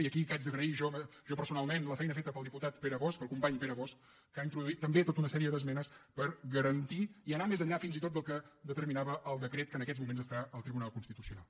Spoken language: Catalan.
i aquí haig d’agrair jo personalment la feina feta pel diputat pere bosch el company pere bosch que ha introduït també tota una sèrie d’esmenes per garantir i anar més enllà fins i tot del que determinava el decret que en aquests moments està en el tribunal constitucional